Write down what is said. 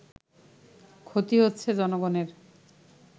ক্ষতি হচ্ছে জনগণের”